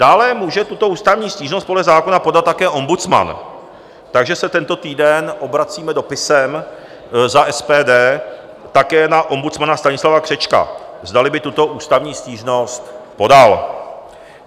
Dále může tuto ústavní stížnost podle zákona podat také ombudsman, takže se tento týden obracíme dopisem za SPD také na ombudsmana Stanislava Křečka, zdali by tuto ústavní stížnost podal.